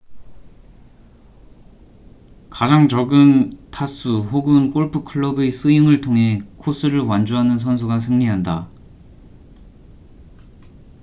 가장 적은 타수 혹은 골프 클럽의 스윙을 통해 코스를 완주하는 선수가 승리한다